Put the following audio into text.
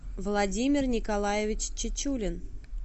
владимир николаевич чечулин